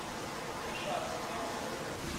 шацком